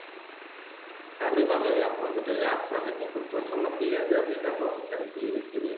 கண்டிப்பா மேரி அப்போ வந்துட்டு அரசாங்கத்தையும் குற்றம் சொல்ல முடியாது அப்படின்றார்போல உங்க கருத்து இருக்குது